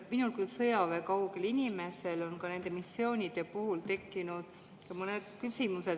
Minul kui sõjaväekaugel inimesel on ka nende missioonide puhul tekkinud mõned küsimused.